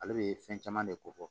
Ale bɛ fɛn caman de kofɔ